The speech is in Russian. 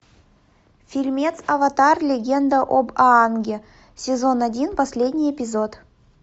фильмец аватар легенда об аанге сезон один последний эпизод